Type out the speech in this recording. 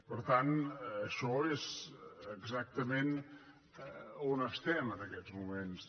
per tant això és exactament on estem en aquests moments